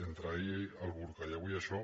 entre ahir el burca i avui això